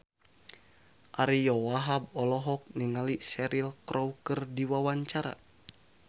Ariyo Wahab olohok ningali Cheryl Crow keur diwawancara